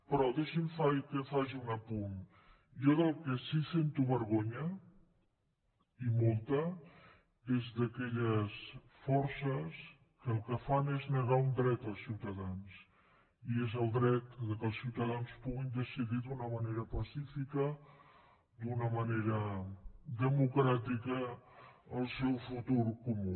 però deixi’m que faci un apunt jo del que sí sento vergonya i molta és d’aquelles forces que el que fan és negar un dret als ciutadans i és el dret que els ciutadans puguin decidir d’una manera pacífica d’una manera democràtica el seu futur comú